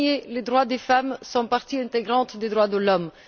En premier, les droits des femmes font partie intégrante des droits de l'homme.